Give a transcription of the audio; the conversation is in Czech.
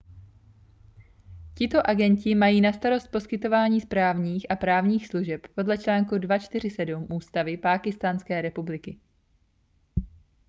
tito agenti mají na starost poskytování správních a právních služeb podle článku 247 ústavy pákistánské republiky